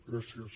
gràcies